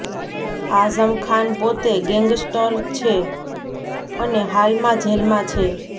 આઝમ ખાન પોતે ગેંગસ્ટર છે અને હાલમાં જેલમાં છે